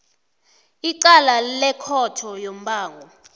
icala lekhotho yombango